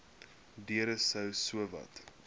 deure sou sowat